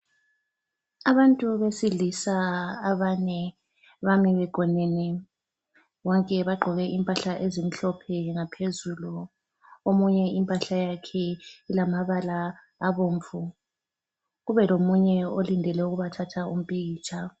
Abantu besilisa abane bame begonene. Bonke bagqoke impahla ezimhlophe ngaphezulu. Omunye impahla yakhe ilamabala abomvu. Kube lomunye olindele ukubathatha umpikitsha.